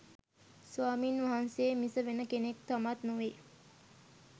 ස්වාමින් වහන්සේ මිස වෙන කෙනෙක් සමත් නොවේ